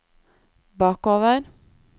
bakover